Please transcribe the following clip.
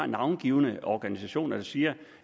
navngivne organisationer der siger